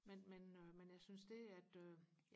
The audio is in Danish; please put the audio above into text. men men øh men jeg synes det at øh